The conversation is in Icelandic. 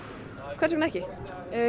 hvers vegna ekki